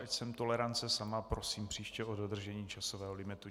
Ač jsem tolerance sama, prosím příště o dodržení časového limitu.